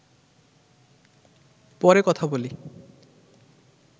পরে কথা বলি